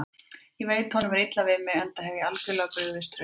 Ég veit að honum er illa við mig, enda hef ég algjörlega brugðist trausti hans.